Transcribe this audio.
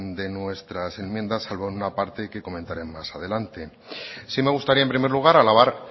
de nuestras enmiendas salvo en una parte que comentaré más adelante sí me gustaría en primer lugar alabar